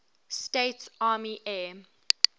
states army air